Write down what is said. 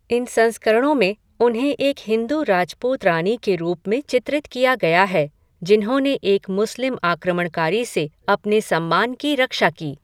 इन संस्करणों में, उन्हें एक हिंदू राजपूत रानी के रूप में चित्रित किया गया है, जिन्होंने एक मुस्लिम आक्रमणकारी से अपने सम्मान की रक्षा की।